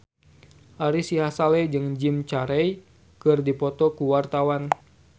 Ari Sihasale jeung Jim Carey keur dipoto ku wartawan